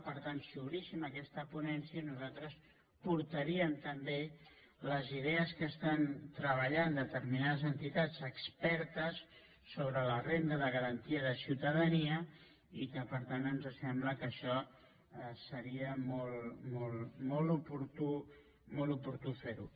per tant si obríssim aquesta ponència nosaltres portaríem també les idees que estan treballant determinades entitats expertes sobre la renda de garantia de ciutadania i que per tant ens sembla que això seria molt oportú fer ho